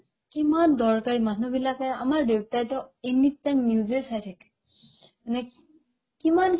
কিমান দৰকাৰ মানুহবিলাকে আমাৰ দেউতাইতো anytime news য়ে চাই থাকে নেক্ কিমান